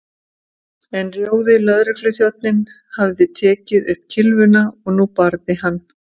En rjóði lögregluþjónninn hafði tekið upp kylfuna og nú barði hann